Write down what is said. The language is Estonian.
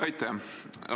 Aitäh!